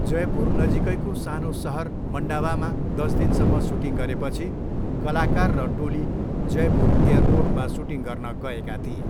जयपुर नजिकैको सानो सहर मन्डावामा दसदिनसम्म सुटिङ गरेपछि कलाकार र टोली जयपुर एयरपोर्टमा सुटिङ गर्न गएका थिए।